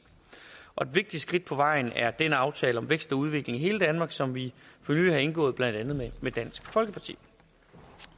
vigtigt skridt på vejen er den aftale om vækst og udvikling i hele danmark som vi for nylig har indgået blandt andet med dansk folkeparti